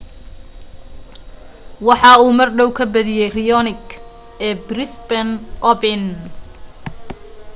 waxa uu mardhow ka badiye raonic ee brisbane open